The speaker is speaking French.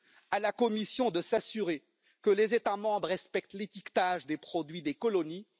Il appartient à la Commission de s'assurer que les États membres respectent l'étiquetage des produits des colonies.